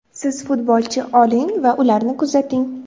Siz futbolchi oling va ularni kuzating.